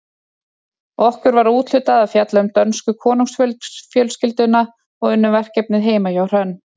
Okkur var úthlutað að fjalla um dönsku konungsfjölskylduna og unnum verkefnið heima hjá Hrönn.